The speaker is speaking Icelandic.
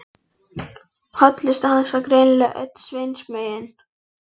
Hollusta hans var greinilega öll Sveins megin.